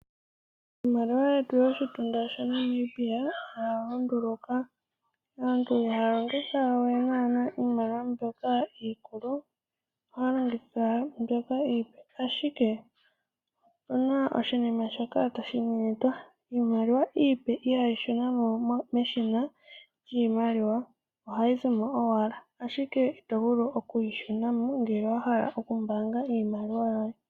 Iimaliwa yetu yoshitunda shaNamibia oya lunduluka, aantu ihaya longitha we naana iimaliwa mbyoka iikulu ohaya longitha mbyoka iipe, ashike opuna oshinima shoka tashi nyenyetwa iimaliwa iipe ihayi shuna mo meshina lyiimaliwa ohayi zi mo owala, ashike ito vulu okuyi shuna mo ngele wahala oku mbaanga iimaliwa yoye.